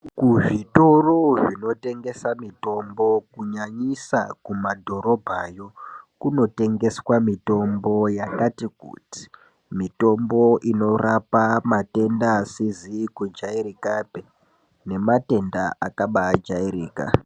Kuzvitoro zvinotengesa mitombo, kunyanyisa kumadhorobha, kunotengeswa mitombo yakati kuti. Mitombo inorapa matenda asizi kujayirikapi nematenda akabaajayirika.